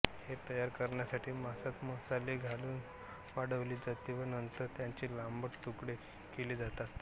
हे तयार करण्यासाठी मांसात मसाले घालून वाळविले जाते व नंतर त्याचे लांबट तुकडे केले जातात